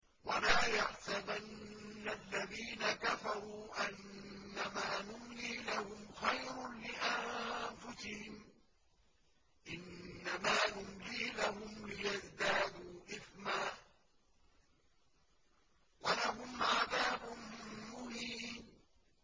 وَلَا يَحْسَبَنَّ الَّذِينَ كَفَرُوا أَنَّمَا نُمْلِي لَهُمْ خَيْرٌ لِّأَنفُسِهِمْ ۚ إِنَّمَا نُمْلِي لَهُمْ لِيَزْدَادُوا إِثْمًا ۚ وَلَهُمْ عَذَابٌ مُّهِينٌ